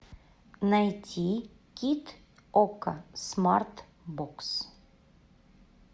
найти кит окко смарт бокс